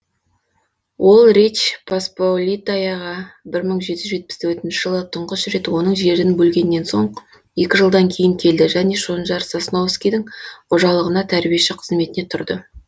ол речь посполитаяға бір мың жеті жүз жетпіс төртінші жылы тұңғыш рет оның жерін бөлгеннен соң екі жылдан кейін келді және шонжар сосновскийдің қожалығына тәрбиеші қызметіне тұрды